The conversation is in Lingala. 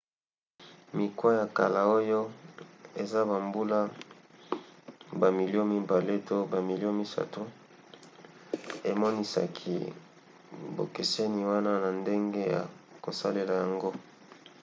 mikwa ya kala oyo esa bambula bamilio mibale to bamilio misato emonisaki bokeseni wana na ndenge ya kosalela yango